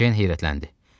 Ceyn heyrətləndi.